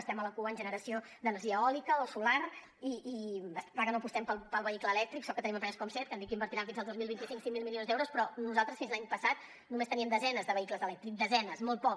estem a la cua en generació d’energia eòlica o solar i és clar que no apostem pel vehicle elèctric sort que tenim empreses com seat que han dit que invertiran fins al dos mil vint cinc cinc mil milions d’euros però nosaltres fins l’any passat només teníem desenes de vehicles elèctrics desenes molt poc